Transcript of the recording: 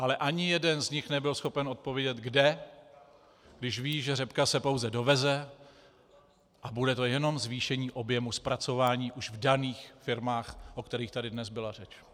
Ale ani jeden z nich nebyl schopen odpovědět kde, když ví, že řepka se pouze doveze a bude to jenom zvýšení objemu zpracování už v daných firmách, o kterých tady dnes byla řeč.